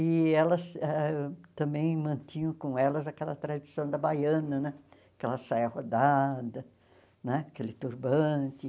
E elas ah também mantinham com elas aquela tradição da baiana né, aquela saia rodada né, aquele turbante.